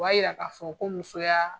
O b'a yira ka fɔ ko musoya